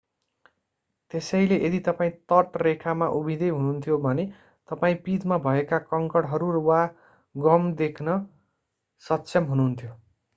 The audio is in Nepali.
त्यसैले यदि तपाईं तटरेखामा उभिँदै हुनुहुन्थ्यो भने तपाईं पिँधमा भएका कङ्कडहरू वा गम देख्न सक्षम हुनुहुन्थ्यो